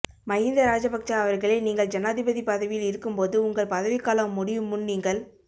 மகிந்த ராஜபக்ஷ அவர்களே நீங்கள் ஜனாதிபதி பதவியில் இருக்கும்போது உங்கள் பதவிக்காலம் முடியுமுன் நீங்கள்